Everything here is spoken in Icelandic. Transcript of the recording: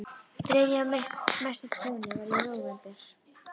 Þriðja og mesta tjónið varð í nóvember.